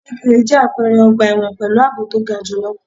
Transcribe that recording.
Kíríkirì jẹ́ àpẹrẹ ọgbà ẹ̀wọ̀n pẹ̀lú àbò to ga jù lọ.